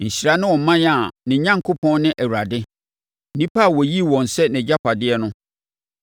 Nhyira ne ɔman a ne Onyankopɔn ne Awurade, nnipa a ɔyii wɔn sɛ nʼagyapadeɛ no.